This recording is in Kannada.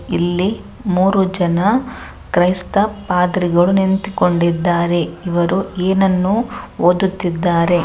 ಇಲ್ಲಿ ಮೂರೂ ಜನ ಕ್ರೈಸ್ತ ಪಾದ್ರಿಗಳು ನಿಂತಿಕೊಂಡಿದ್ದಾರೆ ಇವರು ಏನನ್ನು ಓದುತ್ತಿದ್ದಾರೆ .